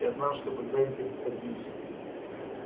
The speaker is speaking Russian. я знал что когда-нибудь этого добьюсь